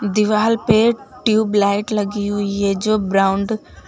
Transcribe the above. दीवाल पे ट्यूबलाइट लगी हुई है जो ब्राउन --